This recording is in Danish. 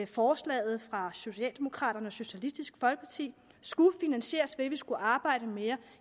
forslaget fra socialdemokraterne og socialistisk folkeparti skulle finansieres ved at vi skulle arbejde mere